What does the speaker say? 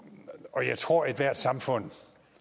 og jeg tror at ethvert samfund